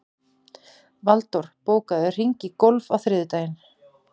Valdór, bókaðu hring í golf á þriðjudaginn.